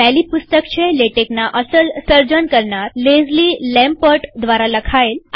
પહેલી પુસ્તક છે લેટેકના અસલ સર્જનકરનારલેઝલી લેમ્પર્ટ દ્વારા લખેલ